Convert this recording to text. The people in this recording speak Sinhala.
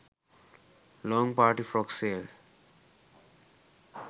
long party frock sale